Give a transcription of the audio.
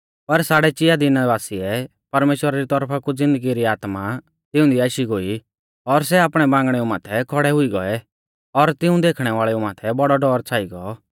पर साड़ै चिया दिना बासिऐ परमेश्‍वरा री तौरफा कु ज़िन्दगी री आत्मा तिऊंदी आशी गोई और सै आपणै बांगणेऊ माथै खौड़ै हुई गौऐ और तिऊं देखणै वाल़ेऊ माथै बौड़ौ डौर छ़ाई गौ